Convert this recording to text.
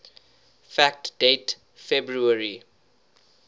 fact date february